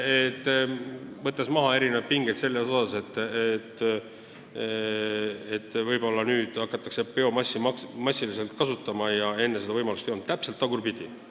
Võttes maha pinged seoses kartusega, et võib-olla nüüd hakatakse biomassi massiliselt kasutama ja enne seda võimalust ei olnud, ma kinnitan: täpselt tagurpidi!